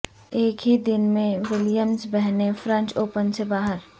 ایک ہی دن میں ولیمز بہنیں فرنچ اوپن سے باہر